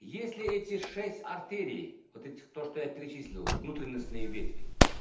если эти шесть артерий вот этих то что я перечислил внутренностные ветви